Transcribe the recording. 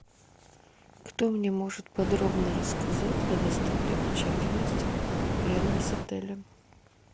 кто мне может подробно рассказать о достопримечательностях рядом с отелем